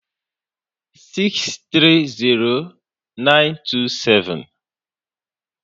630927